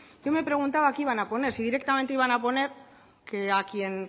yo me preguntaba qué iban a poner si directamente iban a poner que a quien